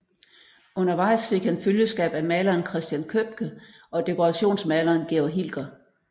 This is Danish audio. Undervejs fik han følgeskab af maleren Christen Købke og dekorationsmaleren Georg Hilker